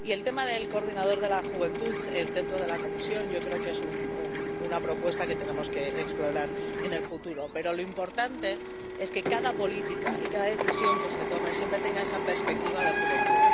Y sobre el tema del coordinador de la Juventud dentro de la Comisión, yo creo que es una propuesta que tenemos que explorar en el futuro, pero lo importante es que cada política y cada decisión que se tome tenga siempre esa perspectiva de juventud.